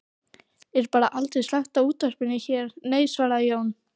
Er bara aldrei slökkt á útvarpinu hér, nei, svaraði Jón